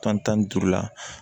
Tan ni duuru la